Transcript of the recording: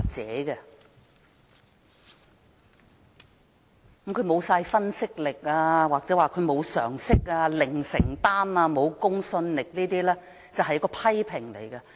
指責他沒有分析力、沒有常識、零承擔及沒有公信力等說話只是批評。